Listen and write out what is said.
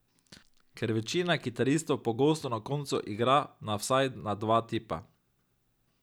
Ker večina kitaristov pogosto na koncu igra na vsaj na dva tipa.